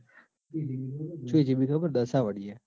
આ